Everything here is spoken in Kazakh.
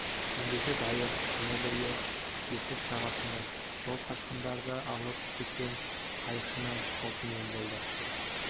ендеше дайыр түні бойы ертіс жағасында сол қашқындарды алып кеткен қайықшыны тосумен болады